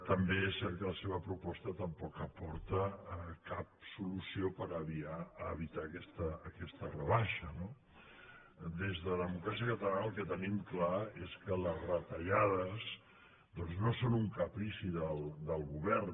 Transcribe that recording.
també és cert que la seva proposta tampoc aporta cap solució per evitar aquesta rebaixa no des de democràcia catalana el que tenim clar és que les retallades no són un caprici del govern